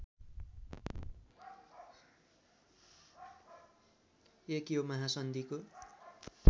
१ यो महासन्धिको